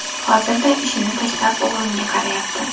Hozirda ishini tashlab, o‘g‘limga qarayapti.